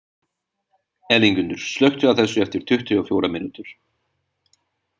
Elíngunnur, slökktu á þessu eftir tuttugu og fjórar mínútur.